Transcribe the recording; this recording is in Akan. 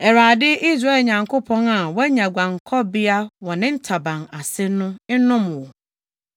Awurade, Israel Nyankopɔn a woanya guankɔbea wɔ ne ntaban ase no nnom wo.”